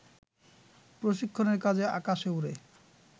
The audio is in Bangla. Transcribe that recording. প্রশিক্ষণের কাজে আকাশে ওড়ে